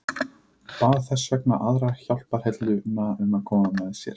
Bað þess vegna aðra hjálparhelluna að koma með sér.